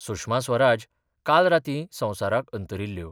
सुषमा स्वराज काल रातीं संवसाराक अंतरिल्ल्यो.